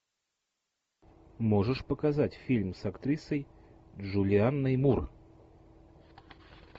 можешь показать фильм с актрисой джулианной мур